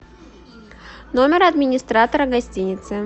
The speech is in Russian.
номер администратора гостиницы